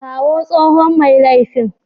Kawo tsohon mai laifin.